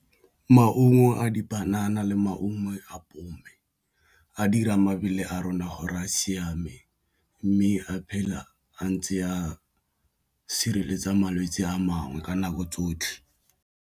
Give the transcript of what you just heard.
Maungo a dipanana le maungo apole a dirang mabele a rona gore a siame, mme a phele a ntse a sireletsa malwetse a mangwe ka nako tsotlhe.